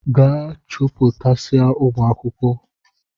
Gaa chupụtasịa ụmụ akwụkwọ!